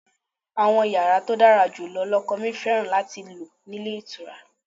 Àwọn yàrá tó dára jù lọ lọkọ mi fẹ́ràn láti lò nílé ìtura.